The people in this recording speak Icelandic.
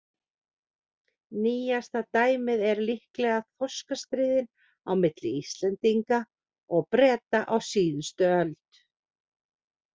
Nýjasta dæmið eru líklega þorskastríðin á milli Íslendinga og Breta á síðust öld.